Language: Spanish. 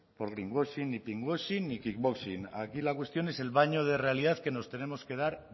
aquí la cuestión es el baño de realidad que nos tenemos que dar